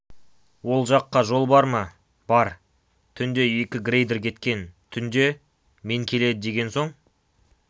ол жаққа жол бар ма бар түнде екі грейдер кеткен түнде мен келеді деген соң